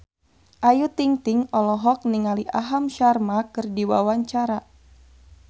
Ayu Ting-ting olohok ningali Aham Sharma keur diwawancara